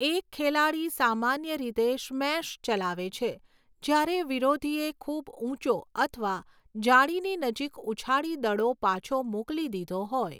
એક ખેલાડી સામાન્ય રીતે સ્મેશ ચલાવે છે જ્યારે વિરોધીએ ખૂબ ઊંચો અથવા જાળીની નજીક ઉછાળી દડો પાછો મોકલી દીધો હોય.